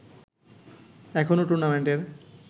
এখনো টুর্নামেন্টের